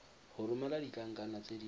go romela ditlankana tse di